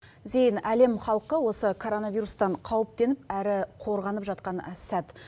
зейін әлем халқы осы короновирустан қауіптеніп әрі қорғанып жатқан сәт